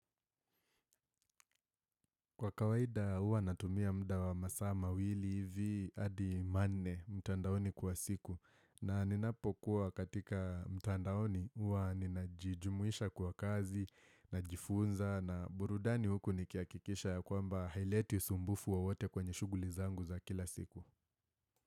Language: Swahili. Kwa kawaida huwa natumia muda wa masaa mawili hivi hadi manne mtandaoni kwa siku na ninapokuwa katika mtandaoni huwa ninajijumuisha kwa kazi, najifunza na burudani huku nikihakikisha ya kwamba haileti usumbufu wowote kwenye shughuli zangu za kila siku.